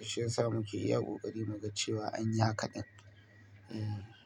Shi ya sa muke iya kokari mu ga cewa anyi yaka ɗin. Eeh.